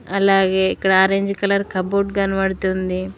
అలాగే ఇక్కడ orange colour cupboard కనబడుతుంది.